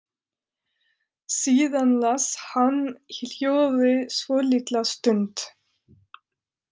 Síðan las hann í hljóði svolitla stund.